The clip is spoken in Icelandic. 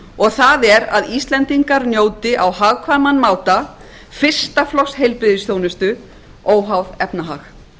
og það er að íslendingar njóti á hagkvæman máta fyrsta flokks heilbrigðisþjónustu óháð efnahag